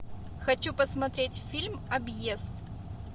хочу посмотреть фильм объезд